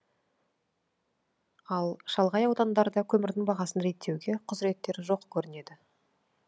ал шалғай аудандарда көмірдің бағасын реттеуге құзыреттері жоқ көрінеді